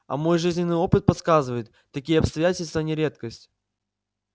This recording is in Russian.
а мой жизненный опыт подсказывает такие обстоятельства не редкость